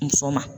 Muso ma